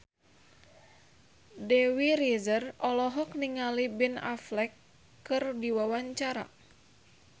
Dewi Rezer olohok ningali Ben Affleck keur diwawancara